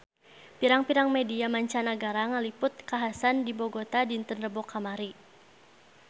Pirang-pirang media mancanagara ngaliput kakhasan di Bogota dinten Rebo kamari